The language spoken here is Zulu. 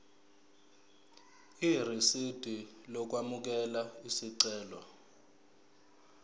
irisidi lokwamukela isicelo